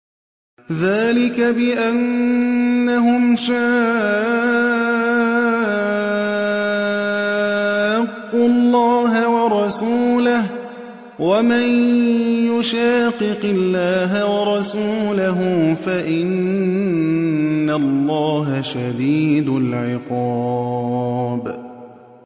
ذَٰلِكَ بِأَنَّهُمْ شَاقُّوا اللَّهَ وَرَسُولَهُ ۚ وَمَن يُشَاقِقِ اللَّهَ وَرَسُولَهُ فَإِنَّ اللَّهَ شَدِيدُ الْعِقَابِ